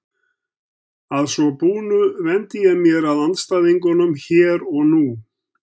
Að svo búnu vendi ég mér að andstæðingunum hér og nú.